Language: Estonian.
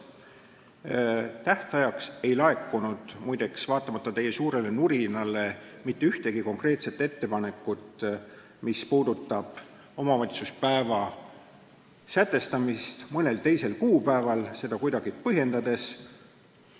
Muide, tähtajaks ei laekunud, vaatamata teie suurele nurinale, mitte ühtegi konkreetset ettepanekut, mis puudutaks omavalitsuspäeva sätestamist mõnel teisel kuupäeval, seda kuidagi põhjendades.